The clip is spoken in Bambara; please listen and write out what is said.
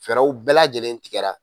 Fɛrɛw bɛɛ lajɛlen tigɛra.